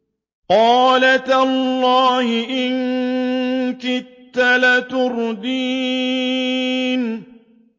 قَالَ تَاللَّهِ إِن كِدتَّ لَتُرْدِينِ